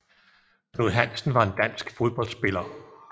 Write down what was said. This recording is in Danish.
Knud Hansen var en dansk fodboldspiller